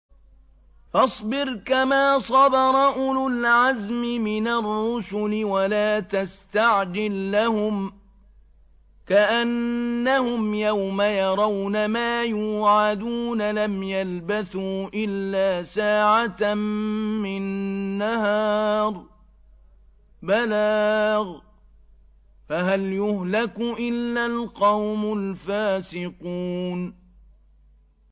فَاصْبِرْ كَمَا صَبَرَ أُولُو الْعَزْمِ مِنَ الرُّسُلِ وَلَا تَسْتَعْجِل لَّهُمْ ۚ كَأَنَّهُمْ يَوْمَ يَرَوْنَ مَا يُوعَدُونَ لَمْ يَلْبَثُوا إِلَّا سَاعَةً مِّن نَّهَارٍ ۚ بَلَاغٌ ۚ فَهَلْ يُهْلَكُ إِلَّا الْقَوْمُ الْفَاسِقُونَ